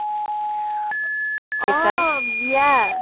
অ বিয়া